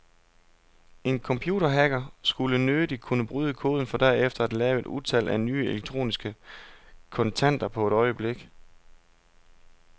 En computerhacker skulle nødig kunne bryde koden for derefter at lave et utal af nye elektroniske kontanter på et øjeblik.